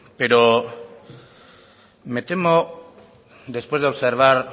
pero me temo después de observar